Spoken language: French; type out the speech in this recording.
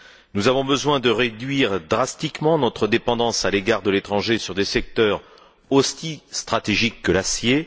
Nous avons besoin de réduire drastiquement notre dépendance à l'égard de l'étranger dans des secteurs aussi stratégiques que celui de l'acier.